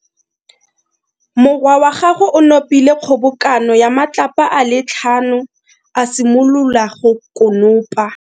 Morwa wa gagwe o nopile kgobokano ya matlapa a le tlhano, a simolola go konopa.